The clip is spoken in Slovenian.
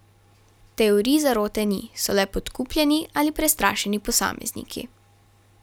Teorij zarote ni, so le podkupljeni ali prestrašeni posamezniki.